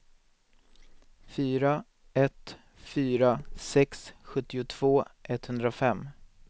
fyra ett fyra sex sjuttiotvå etthundrafem